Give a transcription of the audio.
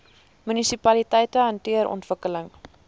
munisipaliteite hanteer ontwikkeling